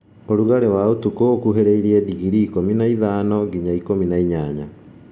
Ũrugalĩ wa ũtukũ ũkuhĩrĩrie digrii ikũmi na ithano nginya ikũmi na inyanya